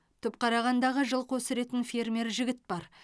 түпқарағандағы жылқы өсіретін фермер жігіт бар